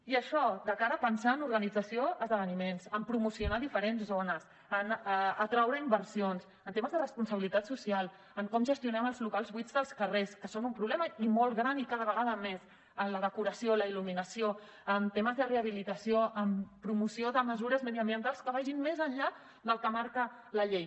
i això de cara a pensar en l’organització d’esdeveniments en promocionar diferents zones en atraure inversions en temes de responsabilitat social en com gestionem els locals buits dels carrers que són un problema i molt gran i cada vegada més en la decoració la il·luminació en temes de rehabilitació en promoció de mesures mediambientals que vagin més enllà del que marca la llei